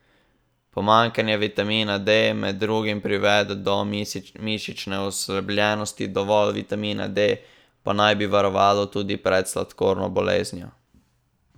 Pomanjkanje vitamina D med drugim privede do mišične oslabelosti, dovolj vitamina D pa naj bi varovalo tudi pred sladkorno boleznijo.